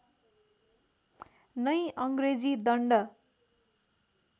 नै अङ्ग्रेजी दण्ड